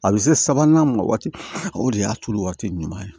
A bɛ se sabanan mɔ waati o de y'a tulu waati ɲuman ye